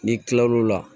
N'i kilal'o la